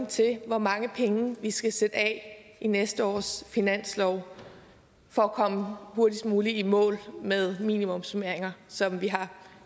til hvor mange penge vi skal sætte af i næste års finanslov for at komme hurtigst muligt i mål med minimumsnormeringer som vi har